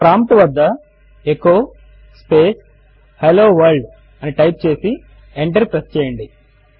prompt వద్ద echo space hello world ను type చేసి ఎంటర్ ప్రెస్ చేయండి